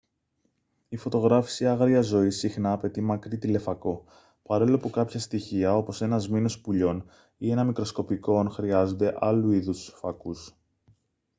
η φωτογράφιση άγριας ζωής συχνά απαιτεί μακρύ τηλεφακό παρόλο που κάποια στοιχεία όπως ένα σμήνος πουλιών ή ένα μικροσκοπικό ον χρειάζονται άλλου είδους φακούς